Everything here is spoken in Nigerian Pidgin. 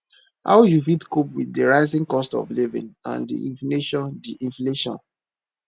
how you fit cope with di rising cost of living and di inflation di inflation